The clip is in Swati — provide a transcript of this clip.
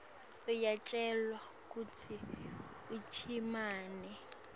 uyacelwa kutsi uchumane